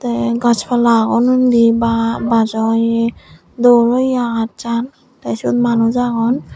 te gach palla agon undi ba bajoye dol oye agachan te siot manuj agon.